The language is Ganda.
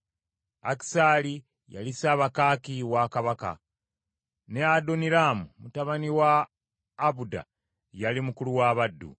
Akisaali, yali ssabakaaki wa kabaka; ne Adoniraamu mutabani wa Abuda, yali mukulu w’abaddu.